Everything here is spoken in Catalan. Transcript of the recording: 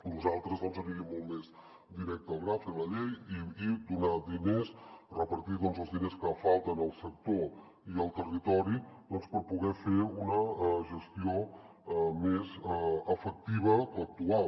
nosaltres doncs aniríem molt més directes al gra a fer la llei i donar diners repartir els diners que falten al sector i al territori per poder fer una gestió més efectiva que l’actual